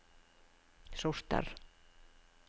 sorter